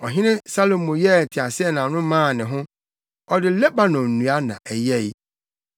Ɔhene Salomo yɛɛ teaseɛnam no maa ne ho; ɔde Lebanon nnua na ɛyɛe.